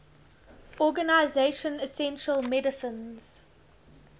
organization essential medicines